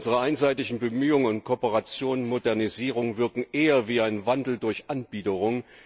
Unsere einseitigen Bemühungen und Kooperationen, Modernisierungen wirken eher wie ein Wandel durch Anbiederung.